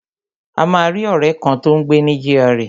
A máa rí ọ̀rẹ́ kan, tó ń gbé ní gra